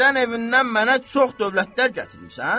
Dədən evindən mənə çox dövlətlər gətirmisən?